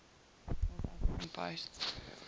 north african coast